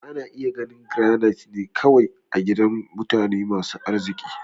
Ana iya ganin Garanait ne kawai a gidajen mutane masu arziki.